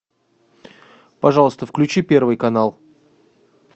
пожалуйста включи первый канал